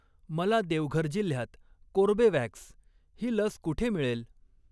मला देवघर जिल्ह्यात कोर्बेवॅक्स ही लस कुठे मिळेल?